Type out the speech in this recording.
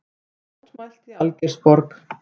Mótmælt í Algeirsborg